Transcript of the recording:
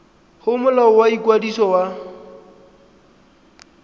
go molao wa ikwadiso wa